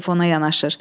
Telefona yanaşır.